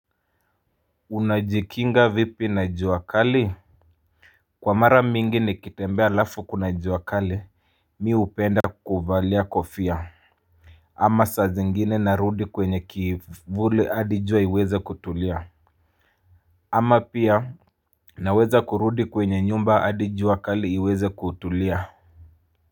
Unajikinga vipi na jua kali? Kwa mara mingi nikitembea alafu kuna jua kali, mimi hupenda kuvalia kofia. Ama saa zingine narudi kwenye kivuli hadi jua iweza kutulia. Ama pia, naweza kurudi kwenye nyumba hadi jua kali iweza kutulia.